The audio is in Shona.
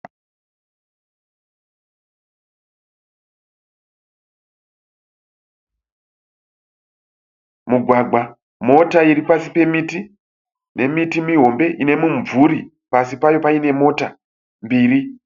Mugwagwa, mota iri pasi pemiti nemiti mihombe ine mumvuri pasi payo paine mota mbiri.